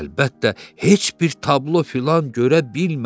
Əlbəttə heç bir tablo filan görə bilmədi.